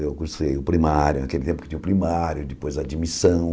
Eu cursei o primário, naquele tempo que tinha o primário, depois a admissão.